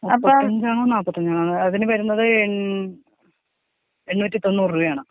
മുപ്പത്തഞ്ചാണോ നാപ്പത്തഞ്ചാണോ അതിന് വരുന്നത് എൺ എണ്ണൂറ്റി തൊണ്ണൂറ് രൂപയാണ്.